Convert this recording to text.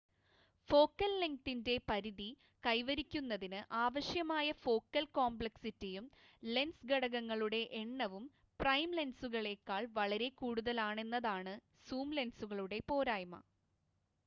focal ലെങ്‌തിൻ്റെ പരിധി കൈവരിക്കുന്നതിന് ആവശ്യമായ ഫോക്കൽ കോംപ്ലെക്‌സിറ്റിയും ലെൻസ് ഘടകങ്ങളുടെ എണ്ണവും പ്രൈം ലെൻസുകളേക്കാൾ വളരെ കൂടുതലാണെന്നതാണ് സൂം ലെൻസുകളുടെ പോരായ്മ